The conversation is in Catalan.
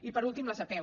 i per últim les apeu